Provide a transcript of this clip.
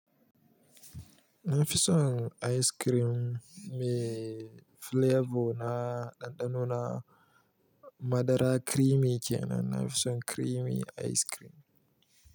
Na fi son ice cream mai flavor na ɗanɗano na madara creamy kenan. Na fi son creamy ice cream.